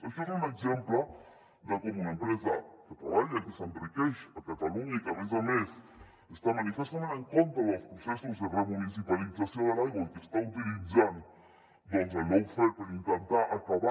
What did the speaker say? això és un exemple de com una empresa que treballa i que s’enriqueix a catalunya i que a més a més està manifestament en contra dels processos de remunicipalització de l’aigua i que està utilitzant el lawfare per intentar acabar